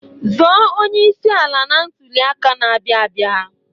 Zọọ onyeisi ala na ntụli aka na-abịa abịa!